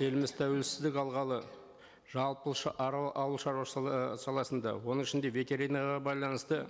еліміз тәуелсіздік алғалы жалпы саласында оның ішінде ветеринарияға байланысты